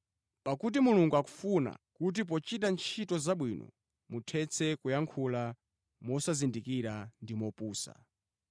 Pakuti Mulungu akufuna kuti pochita ntchito zabwino muthetse kuyankhula mosazindikira ndi mopusa.